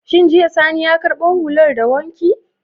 Shin jiya sani ya karbo hular daka wanki?